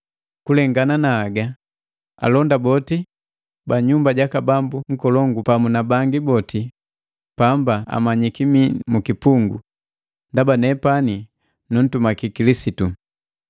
Kulengana na haga, alonda boti ba nyumba jaka bambu nkolongu pamu na bangi boti pamba amanyiki mii mukipungu ndaba nepani nuntumaki Kilisitu.